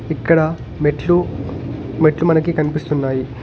ఇక్కడ మెట్లు మెట్లు మనకి కనిపిస్తున్నాయి.